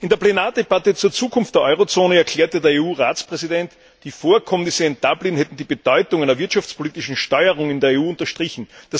In der Plenardebatte zur Zukunft der Eurozone erklärte der EU Ratspräsident, die Vorkommnisse in Dublin hätten die Bedeutung einer wirtschaftspolitischen Steuerung in der EU unterstrichen.